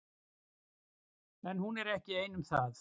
En hún er ekki ein um það.